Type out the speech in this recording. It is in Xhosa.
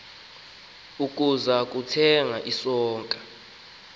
ukuza kuthenga isonka